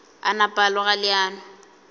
a napa a loga leano